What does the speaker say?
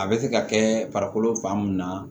A bɛ se ka kɛ farikolo fan mun na